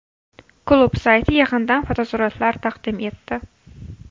Klub sayti yig‘indan fotosuratlar taqdim etdi .